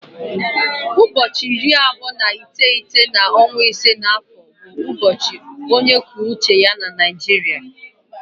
Ụbọọchi iri abụọ na iteghete n'ọnwa ise na afọ bụ bụ ụbọọchi ọchịchị onye kwuo uche ya na Naịjirịa.